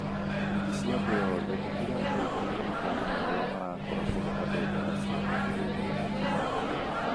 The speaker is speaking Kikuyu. Ikundi cia thĩ yothe nĩ irateithĩrĩria mabũrũri marĩa marakũra kũhe andũ ndawa cia kũgirĩrĩria mũrimũ wa corona.